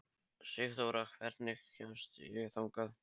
Sigþóra, hvernig kemst ég þangað?